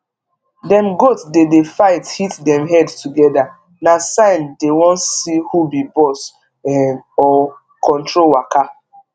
dem goat dey dey fight hit dem head together na sign dey wan see hu be boss um or control waka